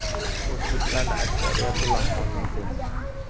O‘zbeklarning aksariyati lag‘mon yeydi.